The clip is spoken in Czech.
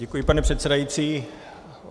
Děkuji, pane předsedající.